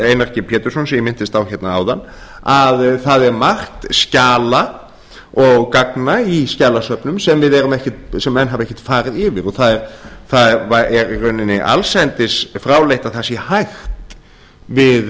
g pétursson sem ég minntist á hérna áðan að það er margt skjala og gagna í skjalasöfnum sem menn hafa ekkert farið yfir og það er í rauninni allsendis fráleitt að það sé hægt